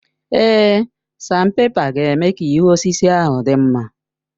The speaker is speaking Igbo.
Èé, sanpèpa ga-eme ka ihu osisi ahụ dị mma.